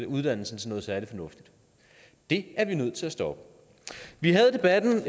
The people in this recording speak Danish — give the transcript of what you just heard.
uddannelsen til noget særlig fornuftigt det er vi nødt til at stoppe vi havde debatten